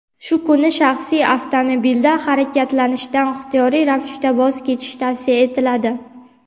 Shu kuni shaxsiy avtomobilda harakatlanishdan ixtiyoriy ravishda voz kechish tavsiya etiladi.